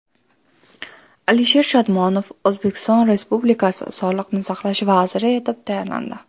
Alisher Shodmonov O‘zbekiston Respublikasi Sog‘liqni saqlash vaziri etib tayinlandi.